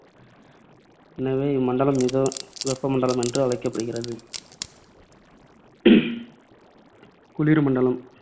எனவே இம்மண்டலம் மித வெப்பமண்டலம் என்று அழைக்கப்படுகிறது. குளிர் மண்டலம்